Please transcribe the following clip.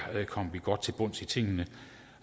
kom godt til bunds i tingene